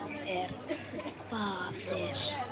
Ég er faðir.